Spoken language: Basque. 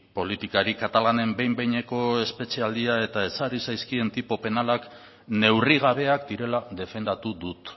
politikari katalanen behin behineko espetxealdia eta ezarri zaizkien tipo penalak neurri gabeak direla defendatu dut